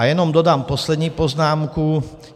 A jenom dodám poslední poznámku.